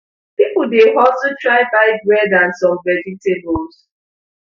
pipo dey hustle try buy bread and some vegetables